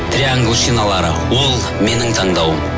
триангл шиналары ол менің таңдауым